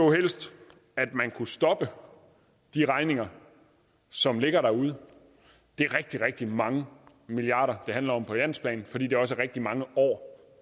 at man kunne stoppe de regninger som ligger derude det er rigtig rigtig mange milliarder det handler om på landsplan fordi det også er rigtig mange år